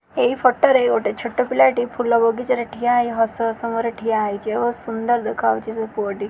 ଏଇ ଫଟୋ ରେ ଗୋଟେ ଛୋଟ ପିଲା ଟି ଫୁଲ ବଗିଚା ରେ ଠିଆ ହେଇ ହସ ହସ ମୁଁହ ରେ ଠିଆ ହେଇଚି ଓ ସୁନ୍ଦର ଦେଖାହଉଚି ସେ ପୁଅ ଟି।